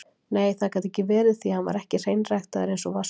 Nei, það gat ekki verið, því hann var ekki hreinræktaður einsog Vaskur.